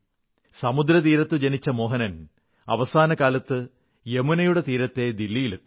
സമുദ്രതീരത്തു ജനിച്ച മോഹനൻ അവസാനകാലത്ത് യമുനയുടെ തീരത്തെ ദില്ലിയിലെത്തി